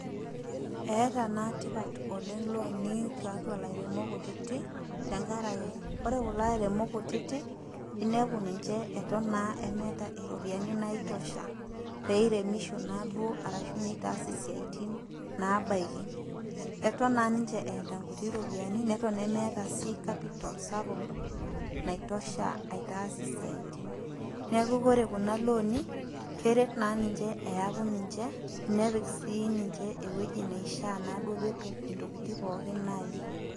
eata naa tipat oleng' iloonitiatua ilairemok kutiti tenkara ake ore kulo airemok kutiti, inepu ninche eton naa meata iropiani naitosha, peiremisho naa duo arshu neitaas isiatin nabaiki, eton naa ninche eata inkuti ropiani nemeata sii capital sapuk naitosha aitaas isiaitin, neaku kore kuna looni, keret naa ninche eaku ninche, nepik sii ninche ewueji naishaa naa duo pee etum intokitin pooki naayiou.